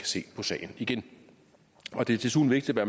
se på sagen igen det er desuden vigtigt at